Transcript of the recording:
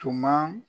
Tuma